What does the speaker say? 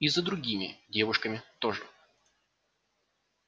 и за другими девушками тоже